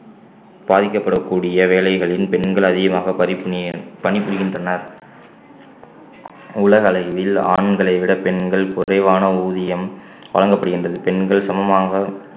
பாதிக்கப்படக்கூடிய வேலைகளில் பெண்கள் அதிகமாக பணி~ பணிபுரிகின்றனர் உலக அளவில் ஆண்களை விட பெண்கள் குறைவான ஊதியம் வழங்கப்படுகின்றது பெண்கள் சமமாக